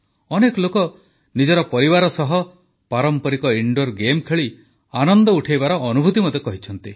ଅନେକ ଲୋକ ନିଜର ପରିବାର ସହ ପାରମ୍ପରିକ ଇନଡୋର୍ ଗେମ୍ ଖେଳି ଆନନ୍ଦ ଉଠାଇବାର ଅନୁଭୂତି ମୋତେ କହିଛନ୍ତି